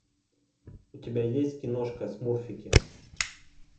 у тебя есть киношка смурфики